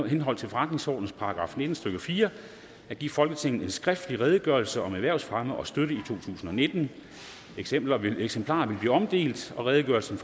henhold til forretningsordenens § nitten stykke fire at give folketinget en skriftlig redegørelse om erhvervsfremme og støtte totusinde og nittende eksemplarer vil eksemplarer vil blive omdelt og redegørelsen